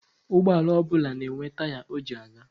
Ụgbọala ọbụla na-enwe taya o ji aga.